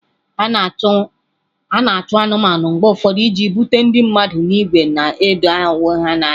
A na-achụ anụmanụ mgbe ụfọdụ iji bute ndị mmadụ n'ìgwè ndị na-edo onwe ha n'anya.